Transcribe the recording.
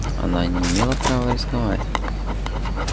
она не имела права рисковать